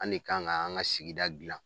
An de kan ka an ka sigida dilan